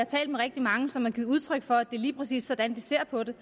talt med rigtig mange som har givet udtryk for at det lige præcis er sådan de ser på det